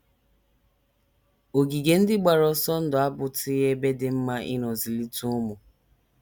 Ogige ndị gbara ọsọ ndụ abụtụghị ebe dị mma ịnọ zụlite ụmụ.